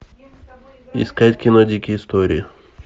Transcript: искать кино дикие истории